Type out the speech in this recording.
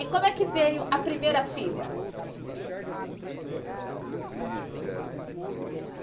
E como é que veio a primeira filha?